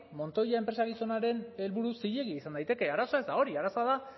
montoya enpresa gizonaren helburu zilegi izan daiteke arazoa ez da hori arazoa da